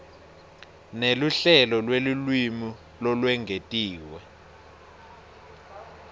neluhlelo lwelulwimi lolwengetiwe